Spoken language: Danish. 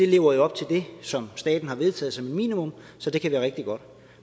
lever op til det som staten har vedtaget som minimum så det kan være rigtig godt